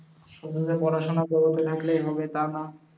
শুধু যে পড়াশোনা থাকলেই হবে তা না।